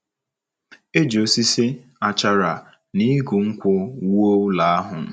Eji osisi achara, na igu nkwụ wuo ụlọ ahụ.